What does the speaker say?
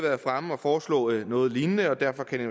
foreslået noget lignende og derfor kan vi